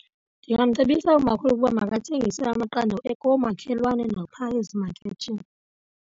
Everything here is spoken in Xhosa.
Ndingamcebisa umakhulu ukuba makathengise amaqanda koomakhelwane naphaya ezimakethini.